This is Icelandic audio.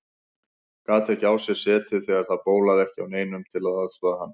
Gat ekki á sér setið þegar það bólaði ekki á neinum til að aðstoða hann.